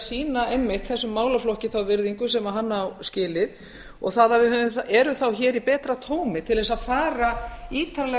sýna einmitt þessum málaflokki þá virðingu sem hann á skilið og það að við erum hér í betra tómi til þess að fara ítarlega